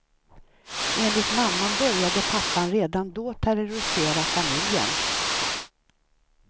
Enligt mamman började pappan redan då terrorisera familjen.